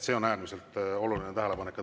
See on äärmiselt oluline tähelepanek.